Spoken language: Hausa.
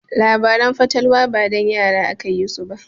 Labaran fatalwa ba dan yara aka yi su ba.